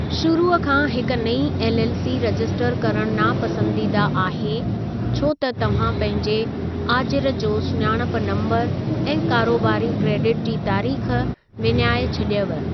शुरू खां हिक नईं एलएलसी रजिस्टर करणु नापसंदीदा आहे छो त तव्हां पंहिंजे आजिर जो सुञाणप नम्बरु ऐं कारोबारी क्रेडिट जी तारीख़ विञाइ छॾियव।